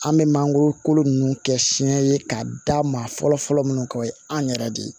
An bɛ mangoro kolo nunnu kɛ siɲɛ ye k'a da maa fɔlɔ fɔlɔ minnu kan o ye an yɛrɛ de ye